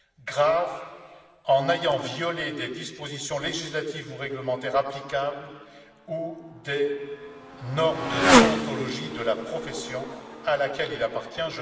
grave, en ayant violé des dispositions législatives ou réglementaires applicables ou des normes de déontologie de la profession à laquelle il appartient